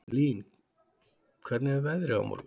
Blín, hvernig er veðrið á morgun?